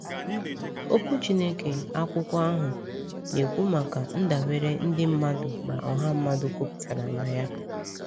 Okwu Chineke, akwụkwọ ahụ, na-ekwu maka “ndabere” ndị mmadụ na ọha mmadụ kwụpụtara na ya.